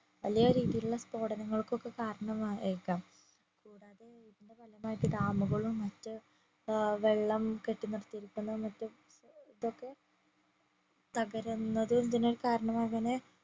വലിയ രീതിയിലുള്ള സ്പോടനങ്ങൾക്കൊക്കെ കാരണമായേക്കാം കൂടാതെ ഇതിന്റെ ഫലമായിട്ട് dam കളും മാറ്റു വെള്ളം കെട്ടിനിർത്തിയിരിക്കുന്ന മറ്റേ ഇതൊക്കെ തകരുന്നതും ഇതിനൊരു കരണമാകാനേ